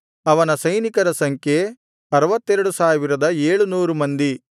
ಅವನ ಸೈನಿಕರ ಸಂಖ್ಯೆ 62700 ಮಂದಿ